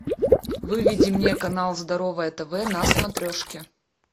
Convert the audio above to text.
выведи мне канал здоровое тв на смотрешке